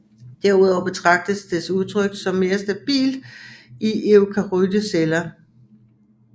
Derudover betragtes dets udtryk som mere stabilt i eukaryote celler